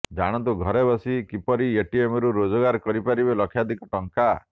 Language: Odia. ଜାଣନ୍ତୁ ଘରେ ବସି କିପରି ଏଟିଏମରୁ ରୋଜଗାର କରିପାରିବେ ଲକ୍ଷାଧିକ ଟଙ୍କା